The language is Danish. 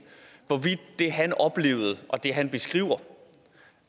hvorvidt det han oplevede og det han beskriver